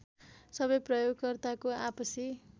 सबै प्रयोगकर्ताको आपसी